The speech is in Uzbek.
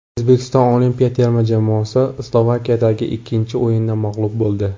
O‘zbekiston olimpiya terma jamoasi Slovakiyadagi ikkinchi o‘yinda mag‘lub bo‘ldi.